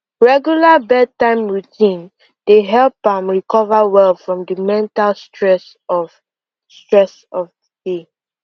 regular bedtime routine dey help am recover well from the mental stress of stress of the day